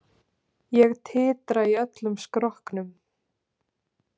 Ég titra í öllum skrokknum.